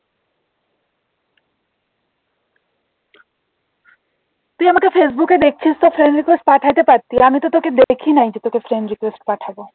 তুই আমাকে ফেসবুকে দেখছিস তা friend request পাঠাতে পারতি আমি তো তোকে দেখি নাই যে তোকে friend request পাঠাবো